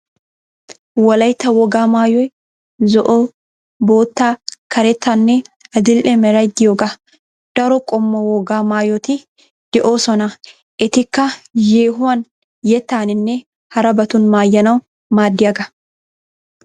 Wolaytta wogaa maayoy zo'o, bootta, karettanne adil'e meray diyogaa. Daro qommo wogaa maayoti de'oosona etikka yeehuwan yettaninne harabatun maayanawu maaddiyagaa